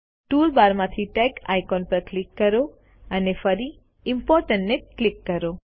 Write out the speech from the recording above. tool બારમાંથી tag icon પર click કરો અને ફરી ઇમ્પોર્ટન્ટ ને ક્લિક કરો